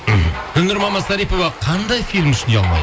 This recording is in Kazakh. мхм гүлнұр мамасарипова қандай фильм үшін ұялмайды